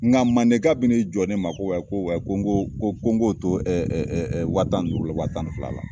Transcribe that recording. Nka mandenka bi n'i jɔ ne ma, ko ko ko n ko, ko ko n k'o to wa tan duuru, wa tan ni fila la.